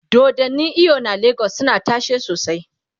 dodannin eyo na legas suna tashe sosai